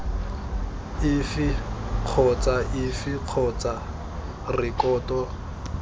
efe kgotsa efe kgotsa rekoto